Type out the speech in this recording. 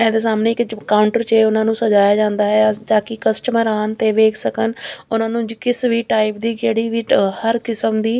ਇਹਦੇ ਸਾਹਮਣੇ ਇੱਕ ਕਾਉਂਟਰ ਚ ਉਹਨਾਂ ਨੂੰ ਸਜਾਇਆ ਜਾਂਦਾ ਹੈ ਤਾਂਕਿ ਕਸਟਮਰ ਆਣ ਤੇ ਵੇਖ ਸਕਣ ਉਨ੍ਹਾਂ ਨੂੰ ਕਿਸ ਵੀ ਟਾਈਪ ਦੀ ਕਿਹੜੀ ਵੀ ਹਰ ਕਿਸਮ ਦੀ --